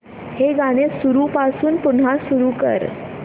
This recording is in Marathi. हे गाणं सुरूपासून पुन्हा सुरू कर